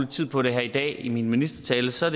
tid på det her i dag i min ministertale så